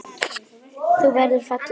Þú verður falleg.